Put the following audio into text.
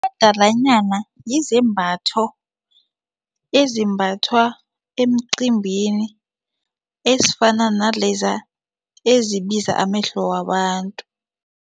Umadalanyana yizembatho ezimbathwa emcimbini ezifana naleza ezibiza amehlo wabantu.